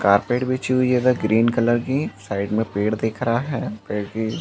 carpet बिछी हुई हैं इधर ग्रीन कलर की साइड में पेड़ दिख रहा हैं पेड़ की --